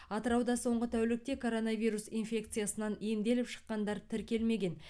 атырауда соңғы тәулікте коронавирус инфекциясынан емделіп шыққандар тіркелмеген